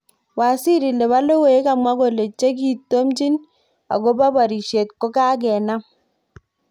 Waziri. nepo logoiywrk kokamwa kole chekitomchin akopo porishet kokokenam